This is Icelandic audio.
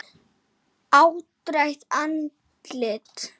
Áttrætt andlit.